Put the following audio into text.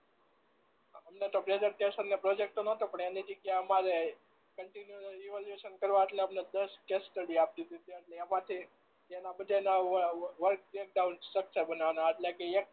અમને તો પ્રેજન્ટેશન અને પ્રોજેક્ટ તો નતો પણ એની જગ્યા એ અમારે કન્ટીન્યુ ઈવોલ્યુશન કરવા એટલે હમને દસ કેશ સ્ટડી આપી દીધી તી એટલે એમાં થી એના બધાય ના વર્ક જે સ્ટકચર બનાવવાનાં એટલે કે એક